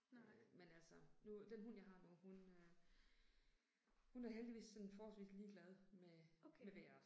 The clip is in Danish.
Øh men altså. Nu den hund jeg har nu, hun øh hun er heldigvis sådan forholdsvist ligeglad med med vejret